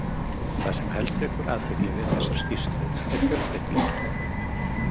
Það sem helst vekur athygli við þessar skýrslur er fjölbreytileikinn.